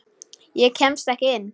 Ég kemst ekki inn.